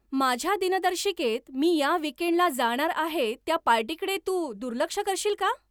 माझ्या दिनदर्शिकेत मी या वीकेंडला जाणार आहे त्या पार्टीकडे तू दुर्लक्ष करशील का?